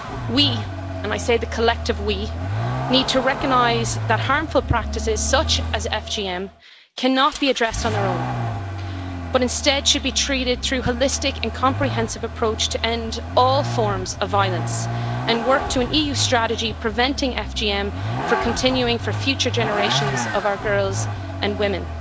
We and I say the collective we' need to recognise that harmful practices such as FGM cannot be addressed on their own, but instead should be treated through a holistic and comprehensive approach to end all forms of violence and work to an EU strategy preventing FGM from continuing for future generations of our girls and women.